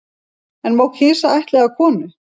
En má kisa ættleiða konu